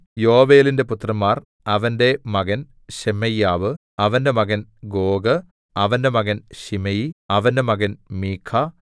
യോവേലിന്റെ പുത്രന്മാർ അവന്റെ മകൻ ശെമയ്യാവ് അവന്റെ മകൻ ഗോഗ് അവന്റെ മകൻ ശിമെയി അവന്റെ മകൻ മീഖാ